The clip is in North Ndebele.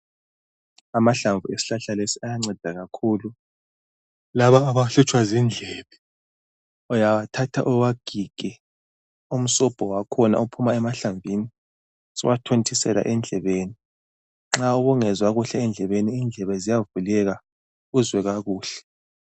Amahlamvu esihlahla lesi ayanceda kakhulu. Laba abahlutshwa zindlebe , uyawathatha uwagige umsobho wakhona ophuma emahlamvini suwathontisela endlebeni. Nxa ubungezwa kuhle endlebeni indlebe ziyavuleka. Uzwe kakuhle.